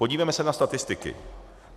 Podívejme se na statistiku.